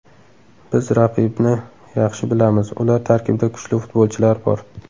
Biz raqibni yaxshi bilamiz, ular tarkibida kuchli futbolchilar bor.